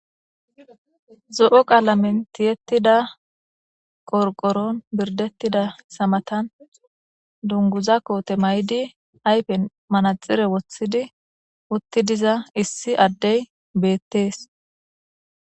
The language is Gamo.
zo7o qaala mentiyettida qorqoron birdettida samatan dunguza koote may7idi aypen manaxire woththidi utti diza issi addey beettees